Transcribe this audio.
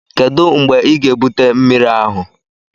Kedu mgbe ị ga-ebute mmiri ahụ?